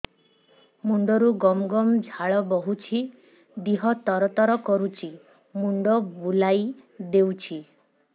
ମୁଣ୍ଡରୁ ଗମ ଗମ ଝାଳ ବହୁଛି ଦିହ ତର ତର କରୁଛି ମୁଣ୍ଡ ବୁଲାଇ ଦେଉଛି